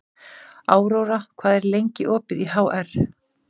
Aurora, hvað er lengi opið í HR?